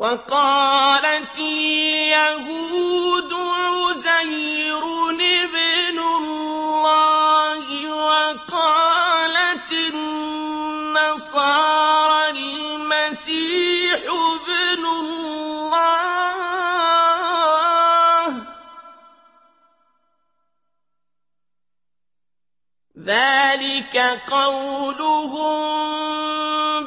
وَقَالَتِ الْيَهُودُ عُزَيْرٌ ابْنُ اللَّهِ وَقَالَتِ النَّصَارَى الْمَسِيحُ ابْنُ اللَّهِ ۖ ذَٰلِكَ قَوْلُهُم